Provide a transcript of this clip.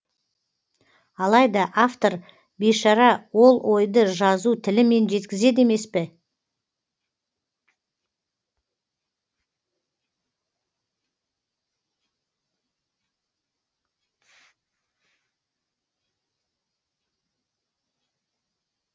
алайда автор бейшара ол ойды жазу тілімен жеткізеді емес пе